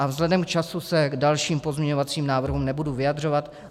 A vzhledem k času se k dalším pozměňovacím návrhům nebudu vyjadřovat.